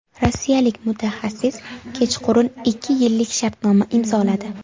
Rossiyalik mutaxassis kechqurun ikki yillik shartnoma imzoladi.